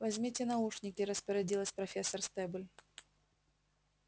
возьмите наушники распорядилась профессор стебль